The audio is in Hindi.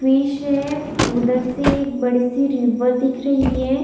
फिश है उधर से बड़की रिवर दिख रही हैं।